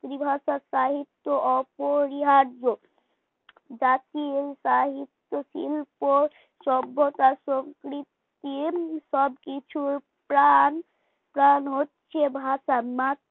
মাতৃভাষায় সাহিত্য অপরিহার্য জাতীয় সাহিত্য শিল্প সভ্যতা সম্প্রীতি সবকিছুর প্রাণ প্রাণ হচ্ছে ভাষা মাতৃ